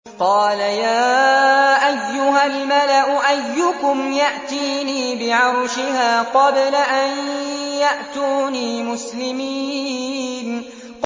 قَالَ يَا أَيُّهَا الْمَلَأُ أَيُّكُمْ يَأْتِينِي بِعَرْشِهَا قَبْلَ أَن يَأْتُونِي مُسْلِمِينَ